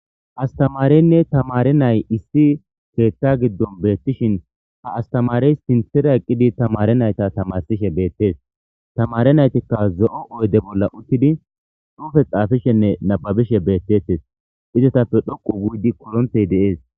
astamareynne tamare nay issi keeththa giddon beettishin ha astamarey sinthira eqqidi tamare nayta tamarsishe beettees tamare naytikka zo7o oyde bolla uttidi dhuufe xaafishenne nababishe beettetes izetappe dhoqu wuydi korontey deees